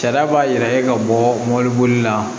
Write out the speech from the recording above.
Sariya b'a yɛrɛ ye ka bɔ mobili bolila